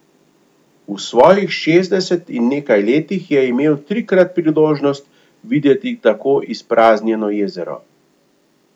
V svojih šestdeset in nekaj letih je imel trikrat priložnost videti tako izpraznjeno jezero.